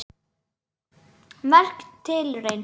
Merk tilraun